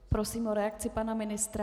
Prosím o reakci pana ministra.